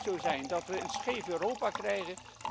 Het kan niet zo zijn dat we een scheef Europa krijgen.